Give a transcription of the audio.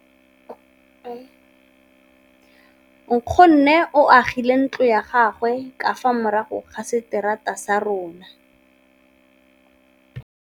Nkgonne o agile ntlo ya gagwe ka fa morago ga seterata sa rona.